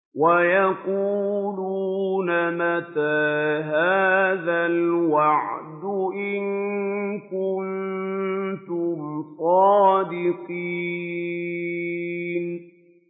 وَيَقُولُونَ مَتَىٰ هَٰذَا الْوَعْدُ إِن كُنتُمْ صَادِقِينَ